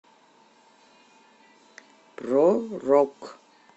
про рок